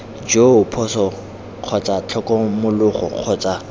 joo phoso kgotsa tlhokomologo kgotsa